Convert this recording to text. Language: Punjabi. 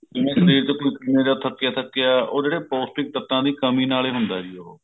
ਜਿਵੇਂ ਸ਼ਰੀਰ ਥਕਿਆ ਥਕਿਆ ਉਹ ਜਿਹੜੇ ਪੋਸਟਿਕ ਤੱਤਾ ਦੀ ਕਮੀ ਨਾਲ ਹੀ ਹੁੰਦਾ ਹੈ ਜੀ ਉਹ